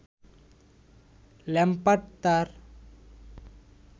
Lampard তার